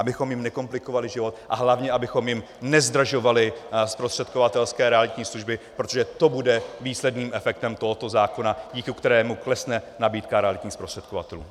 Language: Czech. abychom jim nekomplikovali život a hlavně abychom jim nezdražovali zprostředkovatelské realitní služby, protože to bude výsledným efektem tohoto zákona, díky kterému klesne nabídka realitních zprostředkovatelů.